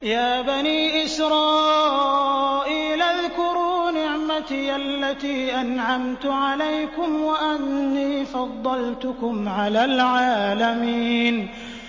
يَا بَنِي إِسْرَائِيلَ اذْكُرُوا نِعْمَتِيَ الَّتِي أَنْعَمْتُ عَلَيْكُمْ وَأَنِّي فَضَّلْتُكُمْ عَلَى الْعَالَمِينَ